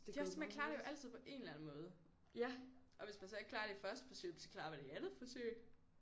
Det er også det man klarer det jo altid på en eller anden måde og hvis man så ikke klarer det i første forsøg jamen så klarer man det i andet forsøg